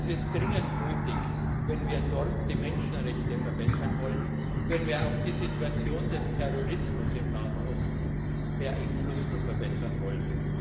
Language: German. Das ist dringend nötig, wenn wir dort die Menschenrechtslage verbessern wollen, wenn wir auch die Situation des Terrorismus im Nahen Osten beeinflussen und verbessern wollen.